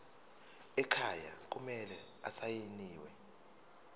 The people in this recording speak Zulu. ekhaya kumele asayiniwe